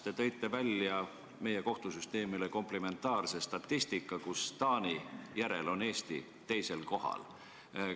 Te tõite välja meie kohtusüsteemi komplimentaarse statistika, kus Eesti on Taani järel teisel kohal.